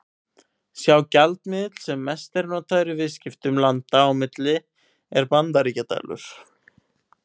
Sá gjaldmiðill sem mest er notaður í viðskiptum landa á milli er Bandaríkjadalur.